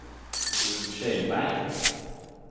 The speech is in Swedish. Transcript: Ulf Kjellberg